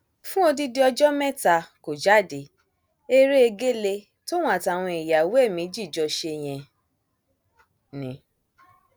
fún odidi ọjọ mẹta kó jáde eré egéle tóun àtàwọn ìyàwó ẹ méjì jọ ṣe yẹn ni